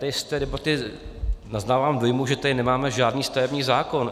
Tady z té debaty naznávám dojmu, že tady nemáme žádný stavební zákon.